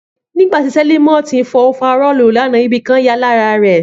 Nígbàtí Selimot ń fọ ofarọ́ọ̀lu l'ana, ibìkan ya lára rè